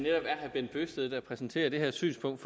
er herre bent bøgsted der præsenterer det her synspunkt